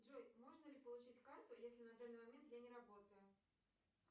джой можно ли получить карту если на данный момент я не работаю